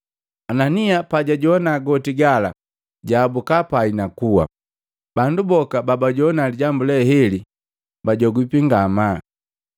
Anania pajajowana goti gala jaabuka pai na kua. Bandu boka babajogwa lijambu leheli bajogwipi ngamaa.